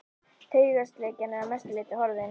Taugaslekjan er að mestu leyti horfin.